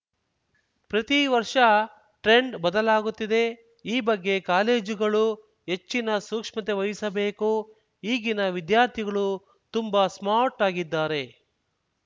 ಪ್ರತಿ ವರ್ಷ ಟ್ರೆಂಡ್‌ ಬದಲಾಗುತ್ತಿದೆ ಈ ಬಗ್ಗೆ ಕಾಲೇಜುಗಳು ಹೆಚ್ಚಿನ ಸೂಕ್ಷ್ಮತೆ ವಹಿಸಬೇಕು ಈಗಿನ ವಿದ್ಯಾರ್ಥಿಗಳು ತುಂಬಾ ಸ್ಮಾರ್ಟ್‌ ಆಗಿದ್ದಾರೆ